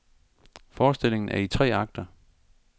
Forestillingen er i tre akter.